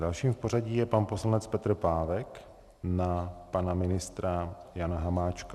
Dalším v pořadí je pan poslanec Petr Pávek na pana ministra Jana Hamáčka.